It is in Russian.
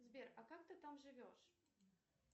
сбер а как ты там живешь